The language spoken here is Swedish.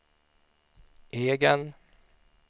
egen